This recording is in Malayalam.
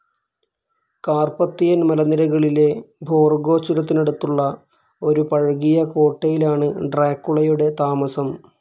കാർപ്പത്തിയൻ മലനിരകളിലെ ബോർഗോ ചുരത്തിനടുത്തുള്ള ഒരു പഴകിയ കോട്ടയിലാണ് ഡ്രാക്കുളയുടെ താമസം.